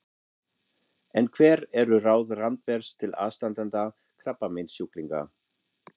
En hver eru ráð Randvers til aðstandanda krabbameinssjúklinga?